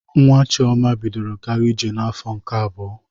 Nwa Chiọma bidoro gaba ije n'afọ nke abụọ